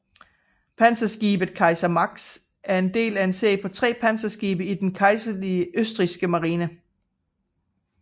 Panserskibet Kaiser Max var en del af en serie på tre panserskibe i den kejserlige østrigske marine